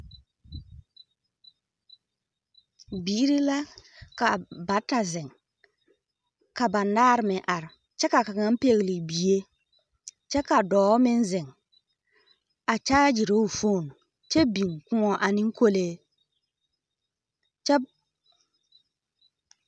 Biiri la ka bata zeŋ, ka banaare meŋ are, kyɛ ka kaŋa pɛgele bie, kyɛ ka dɔɔ meŋ zeŋ, a kyaagyiruu fooni, kyɛ biŋ kōɔ ane kolee, kyɛ…